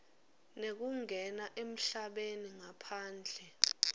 nekungena emhlabeni ngaphandle